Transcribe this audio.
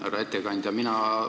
Härra ettekandja!